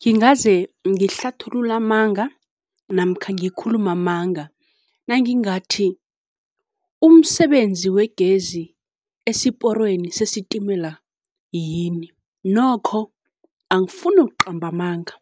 Ngingaze ngihlathulule amanga namkha ngikhulume amanga, nangingathi umsebenzi wegezi esiporweni sesitimela yini, nokho angifuni ukuqamba amanga